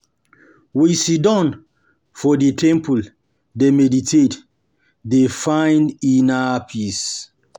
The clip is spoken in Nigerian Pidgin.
We siddon for di temple, dey meditate, dey find inner peace.